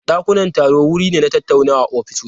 Dakunan taro wuri ne na tattaunawa a ofisoshi.